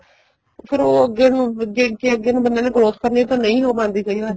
ਫ਼ੇਰ ਉਹ ਅੱਗੇ ਨੂੰ ਜ਼ੇ ਜ਼ੇ ਅੱਗੇ ਬੰਦੇ ਨੂੰ growth ਕਰਨੀ ਏ ਨਹੀਂ ਹੋ ਪਾਂਦੀ ਕਈ ਵਾਰ